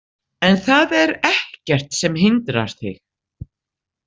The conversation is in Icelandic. En það er ekkert sem hindrar þig.